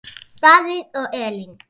Davíð og Elín.